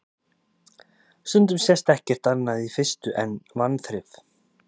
Stundum sést ekkert annað í fyrstu en vanþrif.